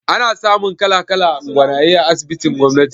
Ana samun kala-kalan gwanaye a asibitin gwamnati